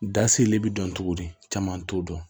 Da seli bi dɔn cogo di caman t'o dɔn